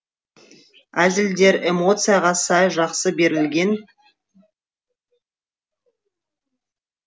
әзілдер эмоцияға сай жақсы берілген